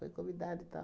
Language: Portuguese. Foi convidada e tal.